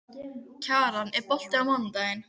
Kjaran, er bolti á mánudaginn?